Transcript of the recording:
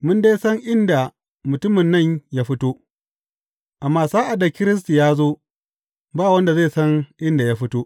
Mun dai san inda mutumin nan ya fito; amma sa’ad da Kiristi ya zo ba wanda zai san inda ya fito.